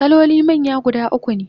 kaloli manya guda ukune